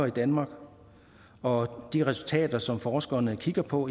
i danmark og de resultater som forskerne kigger på